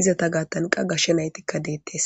izata gaattanqa gashshe naytikka deettes